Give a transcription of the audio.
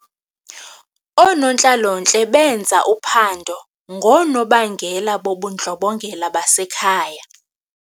Oonontlalontle benza uphando ngoonobangela bobundlobongela basekhaya.